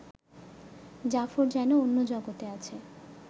জাফর যেন অন্য জগতে আছে